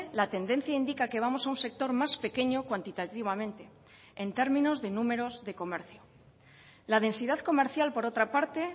la tendencia indica que vamos a un sector más pequeño cuantitativamente en términos de números de comercio la densidad comercial por otra parte